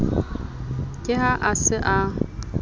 ke ha a se a